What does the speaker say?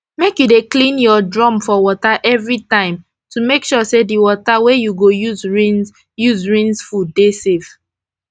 make u dey clean ur drum for water every time to make sure d wata wey u go use rinse use rinse fud dey safe